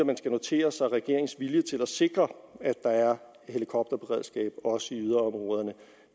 man skal notere sig regeringens vilje til at sikre at der er helikopterberedskab også i yderområderne